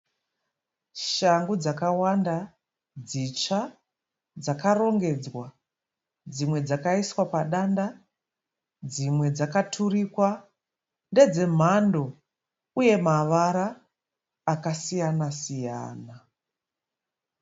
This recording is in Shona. Shangu dzakawanda, dzitsva dzakarongedzwa, dzimwe dzakaiswa padanda, dzimwe dzakaturikwa. Ndedzemhando uye mavara akasiyana-siyana.